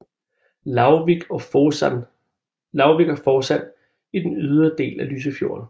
Lauvvik og Forsand i den ydre del af Lysefjorden